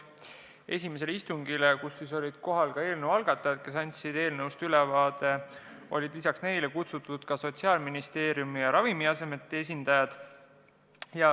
Esimesele istungile, kus olid kohal ka eelnõu algatajad, kes andsid eelnõust ülevaate, olid lisaks neile kutsutud ka Sotsiaalministeeriumi ja Ravimiameti esindajad.